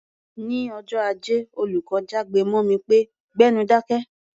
Ní ọjọ́ Ajé, olùkọ́ jágbe mọ́ mi pé "gbẹ́nu dákẹ́!"